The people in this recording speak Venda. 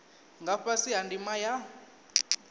nga fhasi ha ndima ya